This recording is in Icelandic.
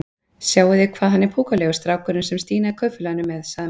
Sjáið þið hvað hann er púkalegur strákurinn sem Stína í Kaupfélaginu er með? sagði Magga.